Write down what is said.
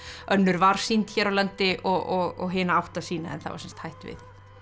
önnur var sýnd hér á landi og hina átti að sýna en það var sem sagt hætt við